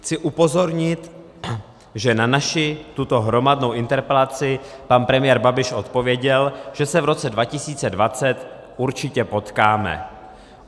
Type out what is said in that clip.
Chci upozornit, že na naši tuto hromadnou interpelaci pan premiér Babiš odpověděl, že se v roce 2020 určitě potkáme.